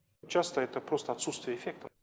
часто это просто отсутствие эффекта